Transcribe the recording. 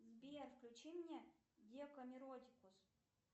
сбер включи мне декамеротикус